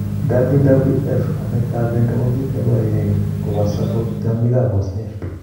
WWF: amet ap pendo ko kot negoyai ko posok kot tiongik ap osnet.